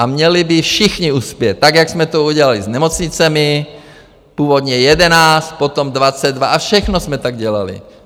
A měli by všichni uspět, tak jak jsme to udělali s nemocnicemi, původně 11, potom 22, a všechno jsme tak dělali.